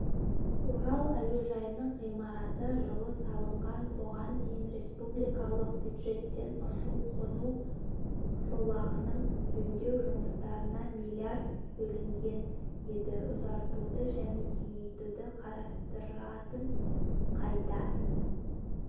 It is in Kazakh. орал әуежайының ғимараты жылы салынған бұған дейін республикалық бюджеттен ұшу-қону жолағының жөндеу жұмыстарына миллиард бөлінген еді ұзартуды және кеңейтуді қарастыратын қайта